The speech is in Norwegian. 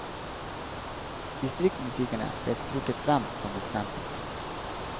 Distriktsmusikerne blir trukket frem som eksempel.